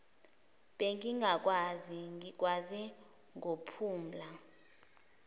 bengingakwazi ngikwaze ngophumla